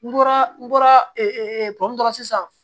N bɔra n bɔra ee pɔn dɔrɔn sisan